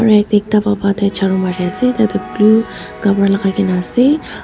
aru yatae ekta baba tai charu marease tai tu blue kapra lakaikaena ase--